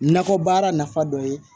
Nakɔ baara nafa dɔ ye